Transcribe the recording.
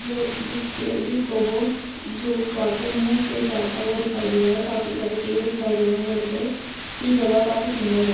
जो जिसके जिसको वो आगे मुंह से चाटता हुआ दिखाई दे रहा है काफी सारे पेड़ दिखाई दे रहे है बड़े-बड़े ये जगह काफी सुंदर है।